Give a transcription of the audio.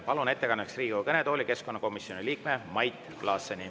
Palun ettekandjaks Riigikogu kõnetooli keskkonnakomisjoni liikme Mait Klaasseni.